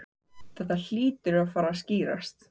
Þetta hlýtur að fara að skýrast